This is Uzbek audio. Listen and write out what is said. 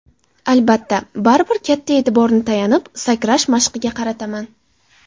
Albatta, baribir katta e’tiborni tayanib sakrash mashqiga qarataman.